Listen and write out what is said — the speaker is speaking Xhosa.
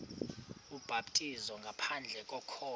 ubhaptizo ngaphandle kokholo